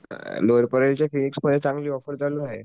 चांगली ऑफर चालू आहे